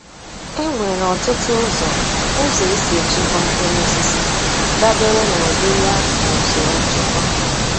E nwere ọtụtụ ụzọ ụzọ esi echekwa mkpụrụosisi, dabere na ụdị ya na usoro nchekwa.